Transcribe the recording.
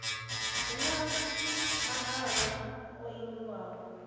hu na mahalwa o ingiwaho